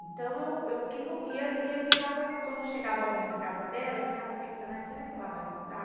Então, eu eu quando chegava alguém na casa dela, eu ficava pensando, será que ela vai contar?